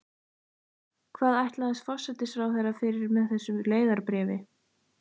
Hvað ætlaðist forsætisráðherra fyrir með þessu leiðarbréfi?